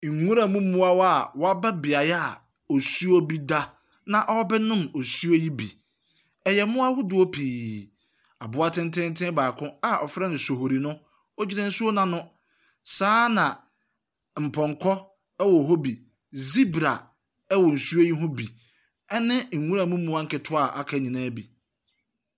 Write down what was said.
Nwura mu mmoawa a wɔaba beaeɛ osuo bi da. Na ɔrebɛnom osuo yi bi. Ɛyɛ mmoa ahodoɔ pii. Aboa tententen baako a wɔfrɛ no sohori no, ogyina nsuo no ano. Saa ara na mpɔnkɔ wɔ hɔ bi. Ɔibra wɔ nsuo yi ho bi. Ɛne nwura mu mmoa a aka nyinaa bi.